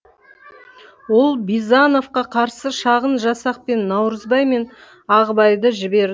ол бизановқа қарсы шағын жасақпен наурызбай мен ағыбайды